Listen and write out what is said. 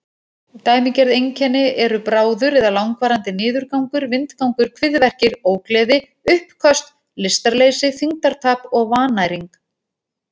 Dæmigerð einkenni eru bráður eða langvarandi niðurgangur, vindgangur, kviðverkir, ógleði, uppköst, lystarleysi, þyngdartap og vannæring.